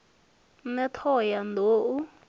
ṋne t hoho ya nḓou